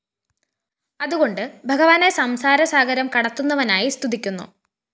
അതുകൊണ്ടു ഭഗവാനെ സംസാരസാഗരം കടത്തുന്നവനായി സ്തുതിക്കുന്നു